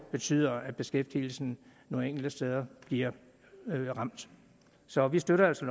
betyder at beskæftigelsen nogle enkelte steder bliver ramt så vi støtter altså